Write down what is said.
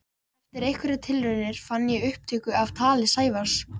Eftir einhverjar tilraunir fann ég upptöku af tali Sævars.